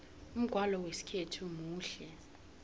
umgwalo wesikhethu muhle